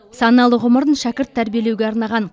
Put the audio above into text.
саналы ғұмырын шәкірт тәрбиелеуге арнаған